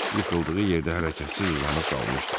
Yıxıldığı yerdə hərəkətsiz uzanıb qalmışdı.